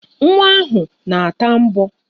Nwa ahụ na-ata mbọ